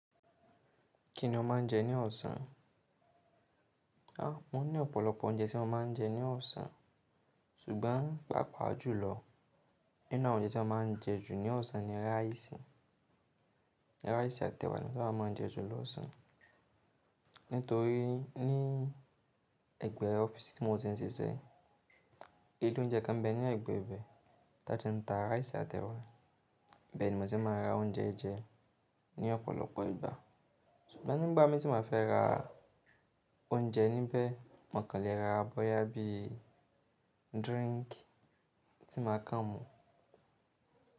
Kí ni o máa ń jẹ ní ọ̀sán? Mo ní ọ̀pọ̀lọpọ̀ oúnjẹ tí mo máa ń jẹ ní ọ̀sán ṣùgbọ́n pàápàá jùlọ, inú àwọn oúnjẹ tí a máa ń jẹ jù ní ọ̀sán ni ráìsì. Ráìsì àti ẹ̀wà ni tí a máa ń jẹ jù lọ́ ọ̀sán. Nítorí ní ẹ̀gbẹ́ ọ́fíìsì tí mo ti ń ṣiṣẹ́, ilé oúnjẹ kan m bẹ ní ẹ̀gbẹ́ ibẹ̀ tí a ti ń ta ráìsì àti ẹ̀wà. I be ni mo ti máa ń ra oúnjẹ jẹ ní ọ̀pọ̀lọpọ̀ ìgbà. Ṣùgbọ́n nígbà mí tí n bá fẹ́ ra oúnjẹ níbẹ̀, mò ń kan lè ra bọ́yá bí drinki tí màá kan mu.